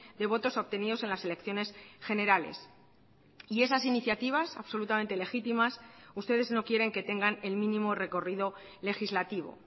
de votos obtenidos en las elecciones generales y esas iniciativas absolutamente legítimas ustedes no quieren que tengan el mínimo recorrido legislativo